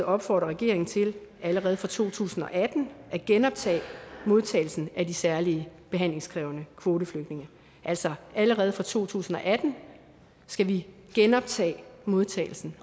opfordrer regeringen til allerede fra to tusind og atten at genoptage modtagelsen af de særlige behandlingskrævende kvoteflygtninge altså allerede fra to tusind og atten skal vi genoptage modtagelsen